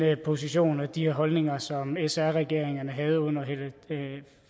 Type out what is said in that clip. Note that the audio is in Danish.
position og de holdninger som sr regeringen havde under